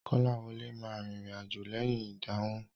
Kọ́láwọlé ma rìnrìn àjò lẹ́yìn ìdánwò.